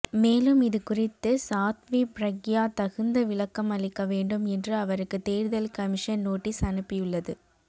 மேலும் இதுகுறித்து சாத்வி பிரக்யா தகுந்த விளக்கமளிக்க வேண்டும் என்று அவருக்கு தேர்தல் கமிஷன் நோட்டீஸ் அனுப்பியுள்ளது